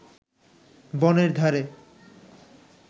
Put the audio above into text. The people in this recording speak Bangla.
বনের ধারে